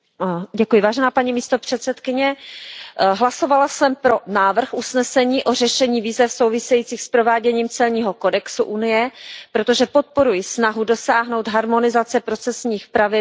Hlasovala jsem pro návrh usnesení o řešení víz souvisejících s prováděním celního kodexu Unie, protože podporuji snahu dosáhnout harmonizace procesních pravidel celní správy jednotlivých členských států.